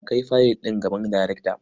A kai fayil ɗin gaban darekta.